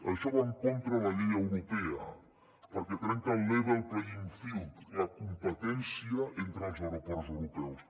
això va en contra de la llei europea perquè trenca el level playing field la competència entre els aeroports europeus